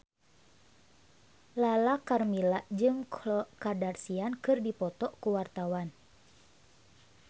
Lala Karmela jeung Khloe Kardashian keur dipoto ku wartawan